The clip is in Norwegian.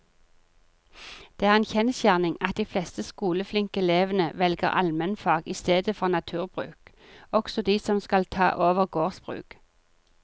Det er en kjensgjerning at de fleste skoleflinke elevene velger allmennfag i stedet for naturbruk, også de som skal ta over gårdsbruk.